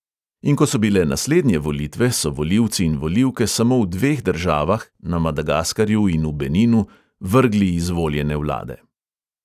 In ko so bile naslednje volitve, so volilci in volilke samo v dveh državah – na madagaskarju in v beninu – vrgli izvoljene vlade.